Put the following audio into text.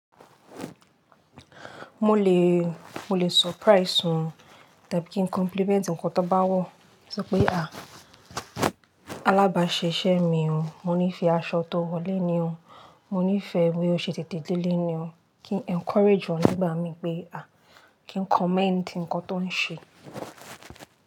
Mo lè, mo lè surprise won tàbí kí n compliment ǹkan tán bá wọ̀. Sọ pé à, alábàṣiṣé mi o, mo nífẹ̀ẹ́ aṣọ tó wọ̀ léni o, mo nífẹ̀ẹ́ bí o ṣe tètè dé léni o, kí n encourage won nígbà mì pé à, kí n commend ǹkan tó n ṣe.